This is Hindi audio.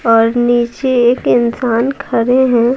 और नीचे एक इंसान खड़े हैं।